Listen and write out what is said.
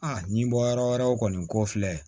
A ɲi bɔ yɔrɔ wɛrɛw kɔni ko filɛ